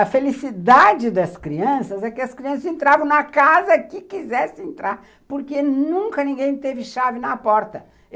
A felicidade das crianças é que as crianças entravam na casa que quisessem entrar, porque nunca ninguém teve chave na porta.